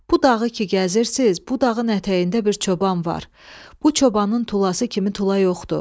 Bu dağı ki gəzirsiniz, bu dağın ətəyində bir çoban var, bu çobanın tulası kimi tula yoxdur.